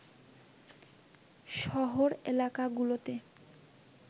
শহর এলাকাগুলোতে